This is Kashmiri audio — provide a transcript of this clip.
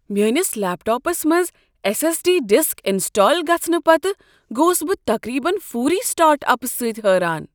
میٲنس لیپ ٹاپس منٛز S S D disk install گژھنہٕ پتہٕ گوس بہٕ تقریبا فوری سٹارٹ اپہٕ سۭتۍ حٲران۔